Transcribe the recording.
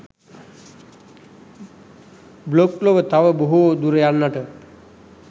blog ලොව තව බොහෝ දුර යන්නට